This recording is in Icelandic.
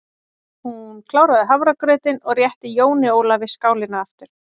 Hún kláraði hafragrautinn og rétti Jóni Ólafi skálina aftur.